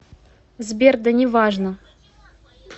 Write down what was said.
сбер да неважно